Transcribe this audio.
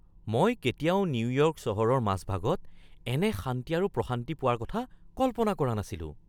মই কেতিয়াও নিউয়ৰ্ক চহৰৰ মাজভাগত এনে শান্তি আৰু প্ৰশান্তি পোৱাৰ কথা কল্পনা কৰা নাছিলো!